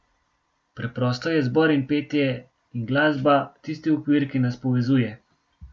Preprosto je zbor in petje in glasba tisti okvir, ki nas povezuje.